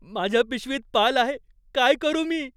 माझ्या पिशवीत पाल आहे. काय करू मी?